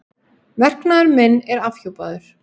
Verknaður minn er afhjúpaður.